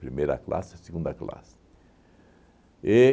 Primeira classe e segunda classe.